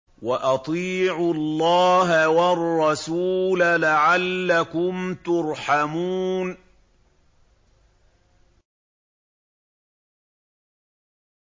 وَأَطِيعُوا اللَّهَ وَالرَّسُولَ لَعَلَّكُمْ تُرْحَمُونَ